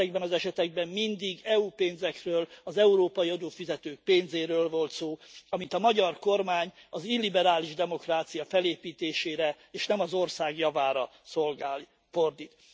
Ezekben az esetekben mindig EU pénzekről, az európai adófizetők pénzéről volt szó, amit a magyar kormány az illiberális demokrácia felépítésére, és nem az ország javára fordít.